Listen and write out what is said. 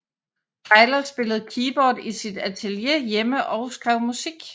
Tyler spillede keyboard i sit atelier hjemme og skrev musik